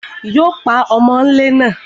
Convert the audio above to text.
Yóò pa ọmọlé náà